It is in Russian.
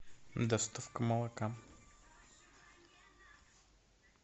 доставка молока